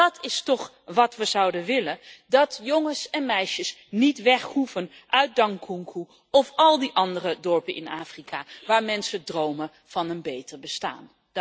Want dat is toch wat we zouden willen dat jongens en meisjes niet weg hoeven uit Dankunku of al die andere dorpen in Afrika, waar mensen dromen van een beter bestaan.